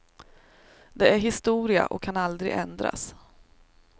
Det är historia och kan aldrig ändras.